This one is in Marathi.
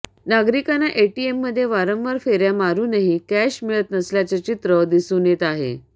नागरिकांना एटीएममध्ये वारंवार फेऱ्या मारूनही कॅश मिळत नसल्याचं चित्र दिसून येत आहे